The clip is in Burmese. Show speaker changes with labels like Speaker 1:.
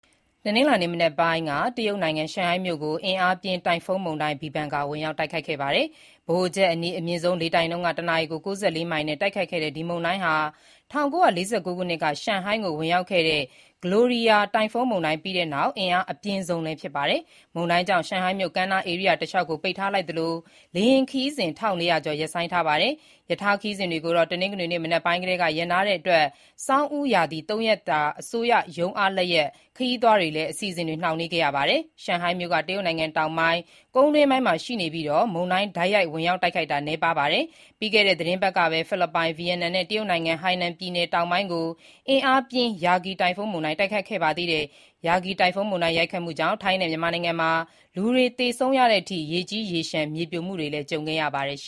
Speaker 1: တနင်္လာနေ့မနက်ပိုင်း တရုတ်နိုင်ငံ ရှန်ဟိုင်းမြို့ကို အင်အားပြင်း တိုင်ဖွန်းမုန်တိုင်း Bebinca ဝင်ရောက်တိုက်ခတ်ပါတယ်။ ဗဟိုချက်အနီး အမြင့်ဆုံး လေတိုက်နှုန်း တနာရီကို ၉၄ မိုင်နဲ့ တိုက်ခတ်တဲ့ ဒီမုန်တိုင်းဟာ ၁၉၄၉ ခုနှစ်က ရှန်ဟိုင်းကိုဝင်ရောက်ခဲ့တဲ့ Gloria တိုင်ဖွန်းမုန်တိုင်းနောက်ပိုင်း အင်အားအပြင်းဆုံးဖြစ်ပါတယ်။ မုန်တိုင်းကြောင့် ရှန်ဟိုင်းမြို့ ကမ်းနားဧရိယာတလျှောက်ကို ပိတ်ထားသလို လေယာဉ်ခရီးစဉ် ၁၄၀၀ ကျော်ကိုရပ်ဆိုင်းထားပါတယ်။ ရထားခရီးစဉ်တွေကိုတော့ တနင်္ဂနွေမနက်ပိုင်းကတည်းက ရပ်နားထားတဲ့အတွက် ဆောင်းဦးရာသီ ၃ ရက်တာ အစိုးရရုံးအားလပ်ရက် ခရီးသွားတွေလည်း အစီအစဉ်တွေ နှောင့်နှေးနေပါတယ်။ ရှန်ဟိုင်းမြို့က တရုတ်နိုင်ငံတောင်ဘက် ကုန်းတွင်းပိုင်းမှာရှိပြီး မုန်တိုင်းတိုက်ရိုက် ဝင်ရောက်တိုက်ခတ်တာ နည်းပါးပါတယ်။ ပြီးခဲ့တဲ့ သီတင်းပတ်ကပဲ ဖိလစ်ပိုင်၊ ဗီယက်နမ်နဲ့ တရုတ်နိုင်ငံ ဟိုင်နန်ပြည်နယ် တောင်ပိုင်းကို အင်အားပြင်း Yagi တိုင်ဖွန်းမုန်တိုင်းတိုက်ခတ်ခဲ့တာပါ။ Yagi တိုင်ဖွန်းမုန်တိုင်း ရိုက်ခတ်မှုကြောင့် ထိုင်းနဲ့ မြန်မာနိုင်ငံမှာ လူတွေသေဆုံးတဲ့အထိ ရေကြီး၊ ရေလျှံ မြေပြိုမှုတွေ ကြုံခဲ့ရပါတယ်။